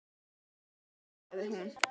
Takk fyrir að taka þessu svona vel, sagði hún.